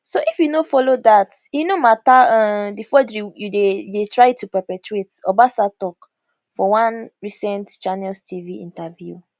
so if you no follow dat e no mata um di forgery you dey dey try to perpetrate obasa tok for one recent channels tv interview